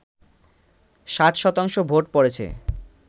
৬০ শতাংশ ভোট পড়েছে